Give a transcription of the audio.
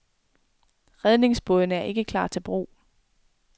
Redningsbådene er ikke klar til brug.